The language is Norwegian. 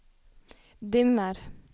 dimmer